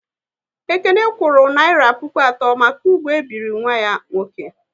Ekene kwuru naira puku atọ maka ugwu e biri nwa ya nwoke